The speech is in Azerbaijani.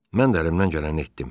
Mən də əlimdən gələni etdim.